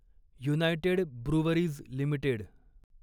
United Breweries limited